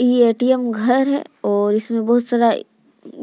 ये ए.टी.एम घर है और इसमें बहुत सारा